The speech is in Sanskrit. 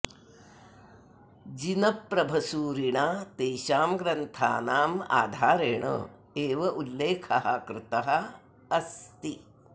जिनप्रभसूरिणा तेषां ग्रन्थानाम् आधारेण एव उल्लेखः कृतः अस्ति